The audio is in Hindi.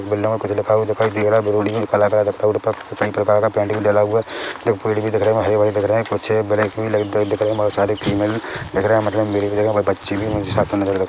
बिल्ला में कुछ लिखा हुआ दिखाई दे रहा है बेरोली मैं काला काला रोड पर कई प्रकार का पेंट भी डला हुआ देखो पेड़ भी दिख रहे हरे-भरे दिख रहे है कुछ ब्लैक भी दिख रहे है बहुत सारे फीमेल दिख रहे है मतलब मेल के जगह मुझे बच्चे भी साथ में नज़र --